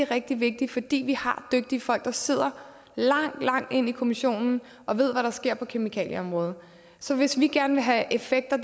rigtig vigtigt fordi vi har dygtige folk der sidder langt langt inde i kommissionen og ved hvad der sker på kemikalieområdet så hvis vi gerne vil have effekter